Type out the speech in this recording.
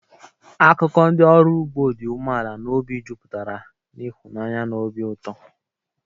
Akụkọ ndị ọrụ ugbo dị umeala n'obi jupụtara na ịhụnanya na obi ụtọ.